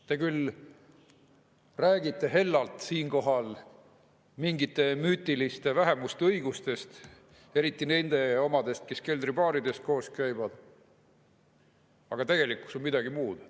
Te küll räägite siinkohal hellalt mingite müütiliste vähemuste õigustest, eriti nende omadest, kes keldribaarides koos käivad, aga tegelikkus on midagi muud.